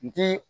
N ti